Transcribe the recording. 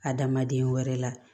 Adamaden wɛrɛ la